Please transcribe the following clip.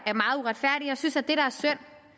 synes at et